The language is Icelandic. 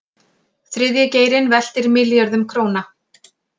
Þriðji geirinn veltir milljörðum króna